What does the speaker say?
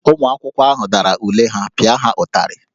Ụmụ akwụkwọ ahụ dara ule ha, pịa ha ụtarị!